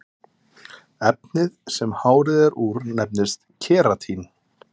efnið sem hárið er úr nefnist keratín